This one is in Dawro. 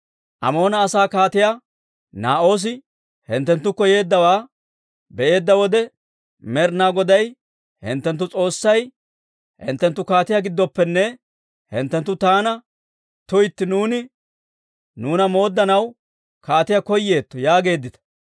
«Amoona asaa Kaatiyaa Naa'oosi hinttenttukko yeeddawaa be'eedda wode, Med'inaa Goday hinttenttu S'oossay hinttenttu kaatiyaa gidooppenne, hinttenttu taana, tuytti, nuuni nuuna mooddanaw kaatiyaa koyeetto yaageeddita.